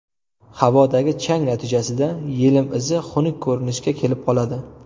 Havodagi chang natijasida yelim izi xunuk ko‘rinishga kelib qoladi.